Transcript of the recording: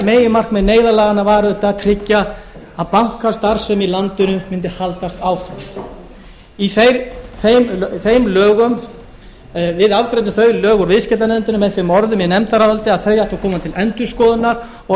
meginmarkmið neyðarlaganna var auðvitað að tryggja að bankastarfsemi í landinu mundi haldast áfram við afgreiddum þau lög úr viðskiptanefndinni með þeim orðum í nefndaráliti að þau ættu að koma til endurskoðunar og